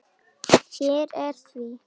Hér er því.